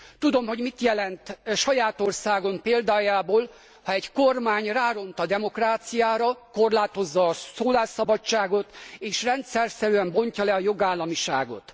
Tudom, hogy mit jelent saját országom példájából ha egy kormány ráront a demokráciára, korlátozza a szólásszabadságot, és rendszerszerűen lebontja a jogállamiságot.